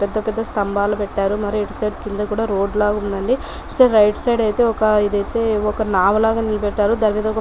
పెద్ద పెద్ద స్తంభాలు కట్టారు మరి ఇటు సైడ్ కింద కూడా రోడ్డు లా ఉందండి ఇటు రైట్ సైడ్ అయితే ఇదైతే ఒక నావ లాగా నిలబెట్టారు .